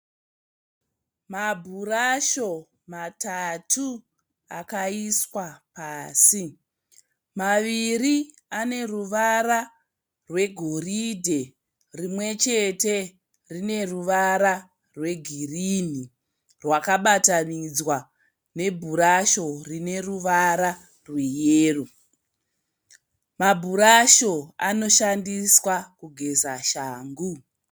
Mabhurasho matatu akaiswa pasi. Maviri ane ruvara rwegoridhe rimwe chete rine ruvara rwegirinhi rwakabatanidzwa nebhurasho rine ruvara rweyero. Mabhurasho anoshandiswa kugeza shangu.